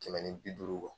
Kɛmɛ ni bi duuru